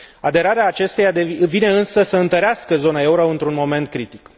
Aderarea acesteia vine însă să întărească zona euro într un moment critic.